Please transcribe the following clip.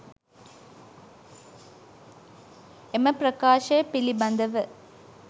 එම ප්‍රකාශය පිළිබඳව